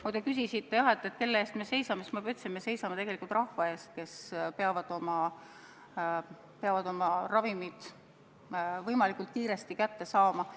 Kui te küsisite, kelle eest me seisame, siis ma juba ütlesin, et me seisame tegelikult rahva eest, kes peab oma ravimid võimalikult kiiresti kätte saama.